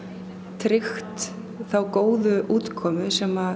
tryggt þá góðu útkomu sem